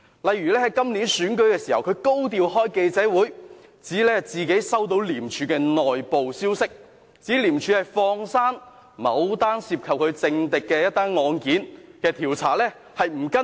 例如在今年選舉時，他高調召開記者招待會，指自己接獲廉署的內部消息，指廉署放過了某宗涉及其政敵的案件，不再跟進。